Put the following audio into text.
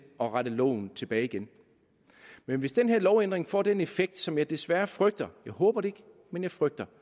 at rette loven tilbage igen men hvis den her lovændring får den effekt som jeg desværre frygter jeg håber det ikke men jeg frygter